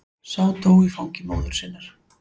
Sá dó í fangi móður sinnar.